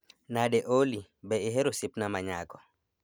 Nade Olly, be ihero osiepna ma nyako